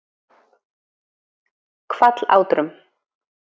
Hvallátrum